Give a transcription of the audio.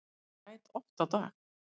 Ég græt oft á dag.